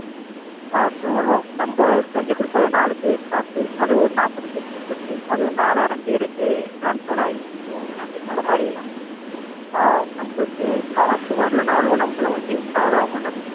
அஹ் So நம்ப செஞ்சு குடுத்தத நாலு பேரு சாப்பிட்டு அதை ஒரு நாப்பது பேருக்கு சொல்லி அது ஒரு நாலாயிரம் பேருக்கு Transfer ஆகி So இந்த மாதிரி ஹம் நம்மலுக்கு காசு வரலைனாலும் நம்மல ஒரு Reach ஆவது ஆகும்ல.